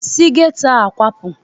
Si geto a kwapụ!